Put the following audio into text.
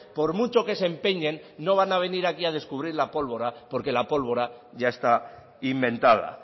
por mucho que se empeñen no van a venir aquí a descubrir la polvora porque la pólvora ya está inventada